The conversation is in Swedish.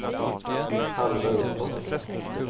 halva uppåt